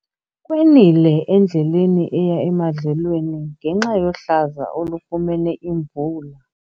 Kwenile endleleni eya emadlelweni ngenxa yohlaza olufumene imvula.